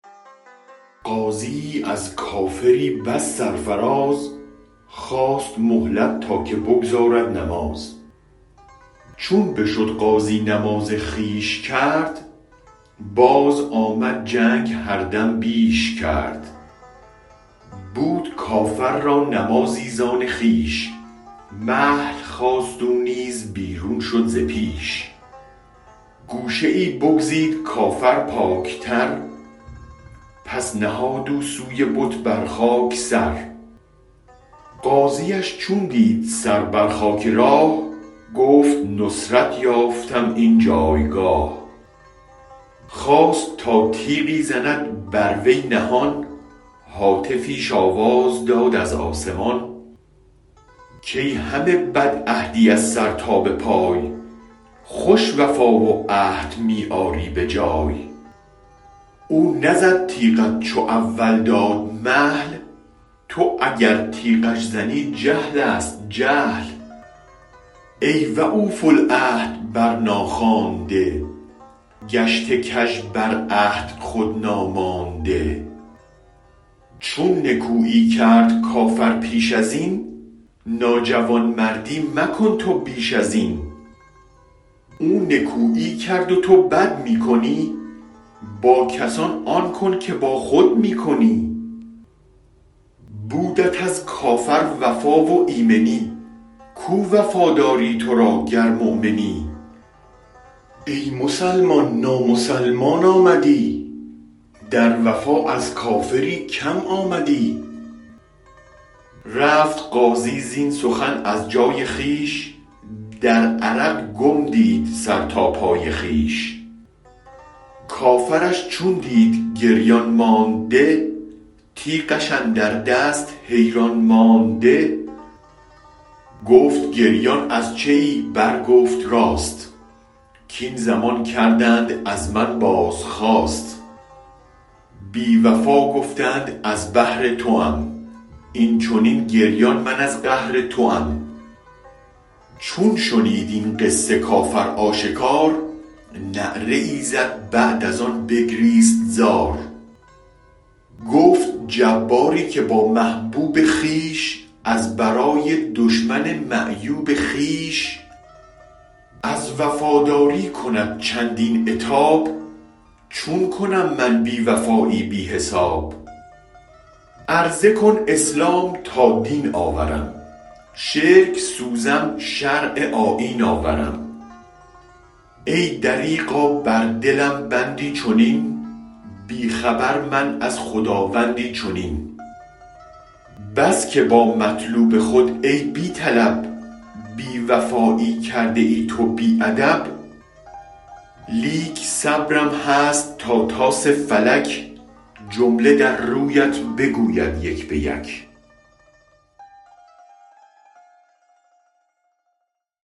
غازیی از کافری بس سرفراز خواست مهلت تا که بگزارد نماز چون بشد غازی نماز خویش کرد بازآمد جنگ هر دم بیش کرد بود کافر را نمازی زان خویش مهل خواست او نیز بیرون شد ز پیش گوشه ای بگزید کافر پاک تر پس نهاد او سوی بت بر خاک سر غازیش چون دید سر بر خاک راه گفت نصرت یافتم این جایگاه خواست تا تیغی زند بر وی نهان هاتفیش آواز داد از آسمان کای همه بد عهدی از سر تا بپای خوش وفا و عهد می آری بجای او نزد تیغت چو اول داد مهل تو اگر تیغش زنی جهل است جهل ای و او فو العهد برنا خوانده گشته کژ بر عهد خودنا مانده چون نکویی کرد کافر پیش ازین ناجوامردی مکن تو بیش ازین او نکویی کرد و تو بد می کنی با کسان آن کن که با خود می کنی بودت از کافر وفا و ایمنی کو وفاداری ترا گرمؤمنی ای مسلمان نامسلم آمدی در وفا از کافری کم آمدی رفت غازی زین سخن از جای خویش در عرق گم دید سر تا پای خویش کافرش چون دید گریان مانده تیغش اندر دست حیران مانده گفت گریان از چه ای بر گفت راست کین زمان کردند از من بازخواست بی وفا گفتند از بهر توم این چنین گریان من از قهر توم چون شنید این قصه کافر آشکار نعره ای زد بعد از آن بگریست زار گفت جباری که با محبوب خویش از برای دشمن معیوب خویش از وفاداری کند چندین عتاب چون کنم من بی وفایی بی حساب عرضه کن اسلام تا دین آورم شرک سوزم شرع آیین آورم ای دریغا بر دلم بندی چنین بی خبر من از خداوندی چنین بس که با مطلوب خود ای بی طلب بی وفایی کرده ای تو بی ادب لیک صبرم هست تا طاس فلک جمله در رویت بگوید یک به یک